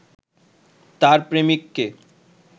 তার প্রেমিককে